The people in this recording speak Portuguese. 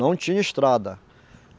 Não tinha estrada.